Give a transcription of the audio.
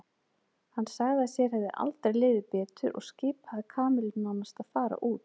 Hann sagði að sér hefði aldrei liðið betur og skipaði Kamillu nánast að fara út.